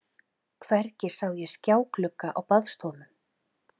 Hvergi sá ég skjáglugga á baðstofum.